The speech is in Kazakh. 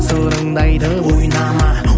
сырыңды айтып ойнама